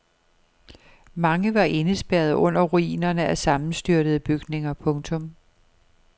Mange var indespærret under ruinerne af sammenstyrtede bygninger. punktum